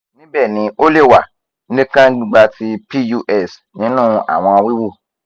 nibẹ ni o le wa ni kan gbigba ti pus ninu awọn wiwu